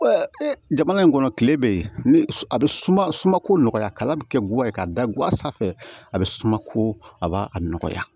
jamana in kɔnɔ kile bɛ yen ne a bɛ sumako nɔgɔya kala bɛ kɛ ka da goya sa fɛ a bɛ suma ko a b'a a nɔgɔya